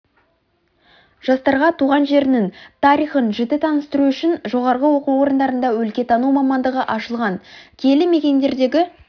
жастарға туған жерінің тарихын жіті таныстыру үшін жоғарғы оқу орындарында өлкетану мамандығы ашылған киелі мекендердегі